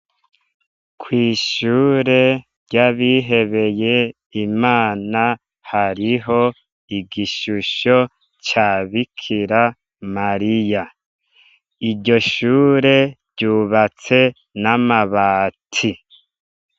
Kw'ishure ryabihebeye ,Imana ,hariho igishisho ca Bikira Mariya, iryoshure ryubatse n'amabati.